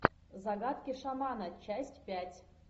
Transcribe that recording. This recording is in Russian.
загадки шамана часть пять